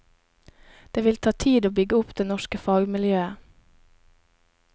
Det vil ta tid å bygge opp det norske fagmiljøet.